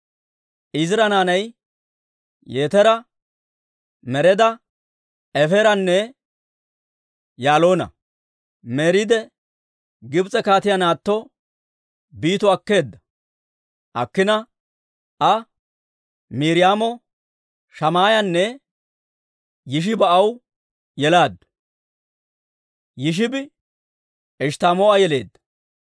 Eezira naanay Yetera, Mereda, Efeeranne Yaaloona. Meredi Gibs'e kaatiyaa naatto Biito akkina iza Miiriyaamo, Shammaayanne Yishiba aw yelaaddu. Yishibi Eshttamoo'a yeleedda.